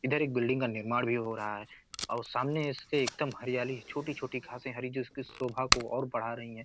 इधर एक बिल्डिंग का निर्माण भी हो रहा है और सामने इसके एकदम हरयाली छोटी-छोटी घासें हरी जो उसकी शोभा को और बढ़ा रही हैं।